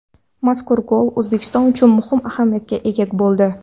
Mazkur gol O‘zbekiston uchun muhim ahamiyatga ega bo‘ldi.